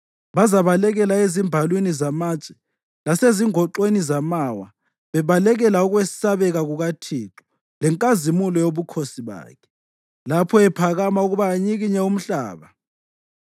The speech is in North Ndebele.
Bazabalekela ezimbalwini zamatshe lasezingoxweni zamawa bebalekela ukwesabeka kukaThixo lenkazimulo yobukhosi bakhe, lapho ephakama ukuba anyikinye umhlaba.